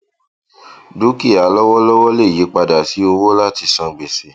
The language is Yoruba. dúkìá lọwọlọwọ lè yí padà sí owó láti san gbèsè